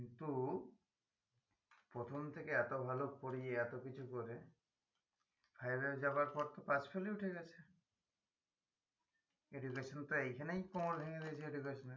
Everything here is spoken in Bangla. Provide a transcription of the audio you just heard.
কিন্তু প্রথম থেকে এত ভালো পড়িয়ে এত কিছু করে five এ যাওয়ার পর তো pass fail ই উঠে গেছে education তো এইখানেই প্রমান হয়ে গেছে education এর